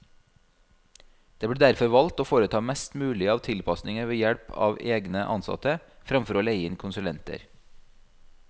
Det ble derfor valgt å foreta mest mulig av tilpasninger ved help av egne ansatte, fremfor å leie inn konsulenter.